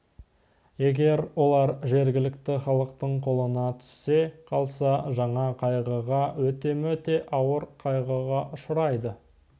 егер олар жергілікті халықтың қолына түсе қалса жаңа қайғыға өте-мөте ауыр қайғыға ұшырайды